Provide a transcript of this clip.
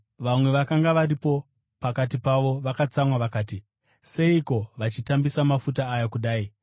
Vamwe vakanga varipo pakati pavo vakatsamwa vakati, “Seiko vachitambisa mafuta aya kudai?